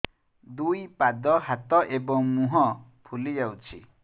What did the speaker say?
ଦୁଇ ପାଦ ହାତ ଏବଂ ମୁହଁ ଫୁଲି ଯାଉଛି